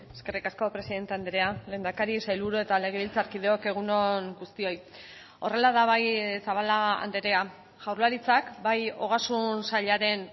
eskerrik asko presidente andrea lehendakari sailburu eta legebiltzarkideok egun on guztioi horrela da bai zabala andrea jaurlaritzak bai ogasun sailaren